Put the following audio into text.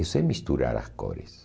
Eu sei misturar as cores.